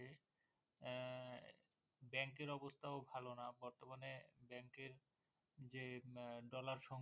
Bank এর অবস্থা ও ভালো না বর্তমানে Bank এ যে Dollar